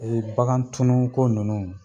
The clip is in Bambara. Ee bakan tunu ko nunnu